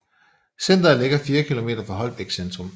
Centret ligger 4 kilometer fra Holbæk centrum